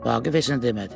Vaqif heç nə demədi.